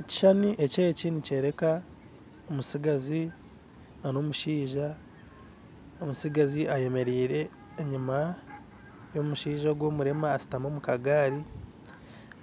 Ekishushani eki nikyereka omutsigazi omushaija ,omutsigazi ayemerire enyima yomushaija ogu omurema ashutami omu kagari,